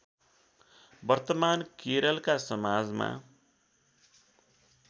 वर्तमान केरलका समाजमा